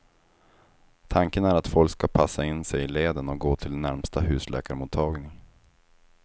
Tanken är att folk ska passa in sig i leden och gå till närmsta husläkarmottagning.